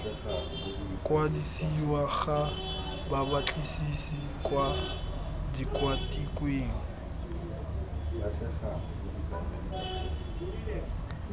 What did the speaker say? kwadisiwa ga babatlisisi kwa tikwatikweng